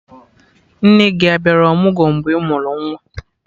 Nne gị a bịara ọmụgwọ mgbe ị mụrụ nwa?